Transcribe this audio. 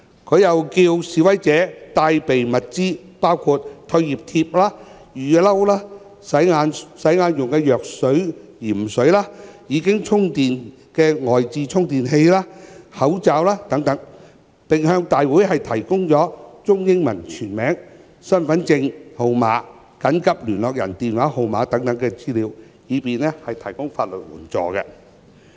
她又叫示威者帶備物資，包括退熱貼、雨衣、洗眼用的藥用鹽水、已充電的外置充電器及口罩等，並向大會提供中英文全名、身份證號碼及緊急聯絡人電話號碼等資料，以便提供法律援助。